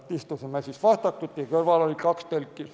Istusime vastakuti ja kõrval oli kaks tõlki.